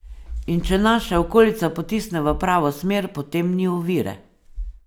In če nas še okolica potisne v pravo smer, potem ni ovire.